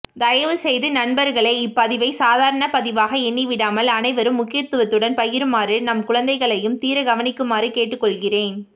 தயவுசெய்து நண்பர்களே இப்பதிவை சாதாரண பதிவாக எண்ணிவிடாமல் அனைவரும் முக்கியத்துவத்துடன் பகிருமாறும் நம் குழந்தைகளையும் தீர கவனிக்குமாறும் கேட்டுக்கொள்கிறேன்